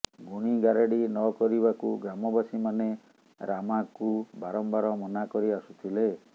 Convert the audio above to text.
ଗୁଣି ଗାରେଡ଼ି ନ କରିବାକୁ ଗ୍ରାମବାସୀମାନେ ରାମାକୁ ବାରମ୍ୱାର ମନା କରି ଆସୁଥିଲେ